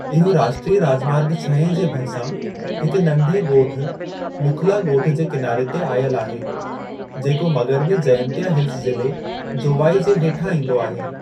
इहो राष्ट्रीय राॼमार्ग छहें जे भरसां हिक नंढे ॻोठ मुखला ॻोठ जे किनारे ते आयल आहे, जेको मग़रबी जयंतिया हिल्स ज़िले जोवाई जे हेठां ईंदो आहे।